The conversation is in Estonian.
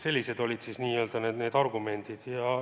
Sellised olid need argumendid.